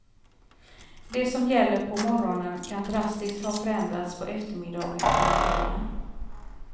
Det som gäller på morgonen kan drastiskt ha förändrats på eftermiddagen eller kvällen.